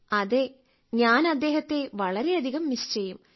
അതെ ഞാൻ അദ്ദേഹത്തെ വളരെയധികം മിസ്സ് ചെയ്യും